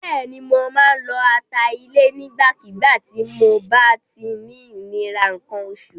Bẹ́ẹ̀ni, mo máa ń lo ata ilẹ̀ nígbàkígbà tí mob á ti ń ní ìnira nǹkan oṣù.